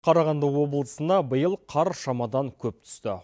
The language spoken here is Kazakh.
қарағанды облысына биыл қар шамадан көп түсті